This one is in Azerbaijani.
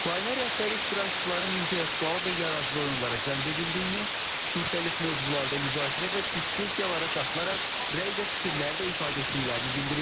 Layihə rəhbəri iştirakçıların intellektual və yaradıcı oyunlara cəlb edildiyini, müxtəlif mövzularda müzakirə və diskussiyalara qatılaraq rəy və fikirlər də ifadə etdiklərini bildirib.